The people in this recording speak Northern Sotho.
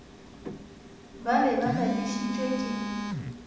ba be ba lapišitšwe ke